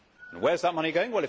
And where is that money going?